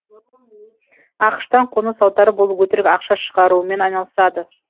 ақш тан қоныс аударып ол өтірік ақша шығарумен айналысады